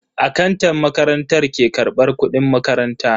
Akantan makarantar ke karbar kudin makaranta.